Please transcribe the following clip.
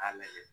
K'a lajɛ